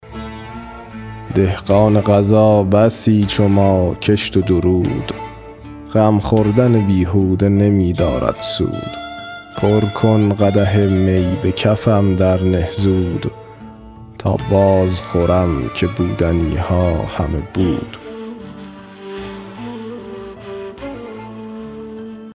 دهقان قضا بسی چو ما کشت و درود غم خوردن بیهوده نمی دارد سود پر کن قدح می به کفم درنه زود تا باز خورم که بودنی ها همه بود